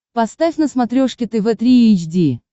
поставь на смотрешке тв три эйч ди